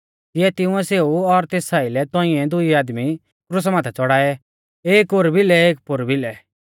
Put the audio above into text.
तिऐ तिंउऐ सेऊ और तेस आइलै तौंइऐ दुई आदमी क्रुसा माथै च़ौड़ाऐ एक ओर भिलै और एक पौर भिलै और मांझ़ा दी यीशु